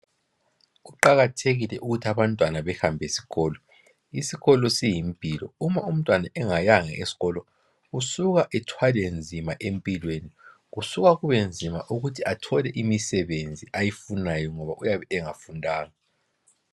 Kuqakathekile ukuthi abantwana behambe esikolo, isikolo siyimpilo uma umntwana engayanga eskolo usuka ethwale nzima empilweni kusuka kube nzima ukuthi athole imisebenzi ayifunayo ngoba uyabe engafundanga.